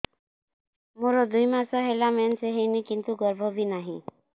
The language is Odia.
ମୋର ଦୁଇ ମାସ ହେଲା ମେନ୍ସ ହେଇନି କିନ୍ତୁ ଗର୍ଭ ବି ନାହିଁ